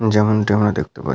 যেমনটি আমরা দেখতে পাচ --